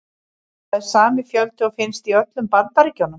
Það er sami fjöldi og finnst í öllum Bandaríkjunum.